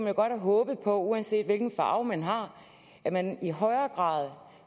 jo godt have håbet på uanset hvilken farve man har at man i højere grad